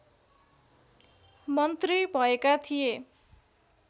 मन्त्री भएका थिए